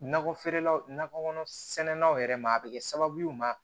Nakɔ feerelaw nakɔ kɔnɔ sɛnanw yɛrɛ ma a bɛ kɛ sababu ma